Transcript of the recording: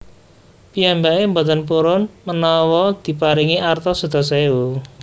Piyambake mboten purun menawa diparingi arta sedasa ewu